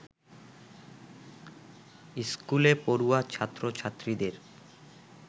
স্কুলে পড়ুয়া ছাত্র-ছাত্রীদের